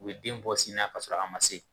U be den bɔ sin na k'a sɔrɔ a ma se